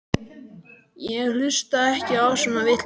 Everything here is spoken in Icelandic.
Ég hlusta ekki á svona vitleysu.